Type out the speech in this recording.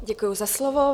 Děkuji za slovo.